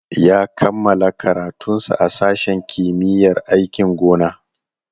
Ya kammala karatunsa a sashen kimiyyar aikin gona.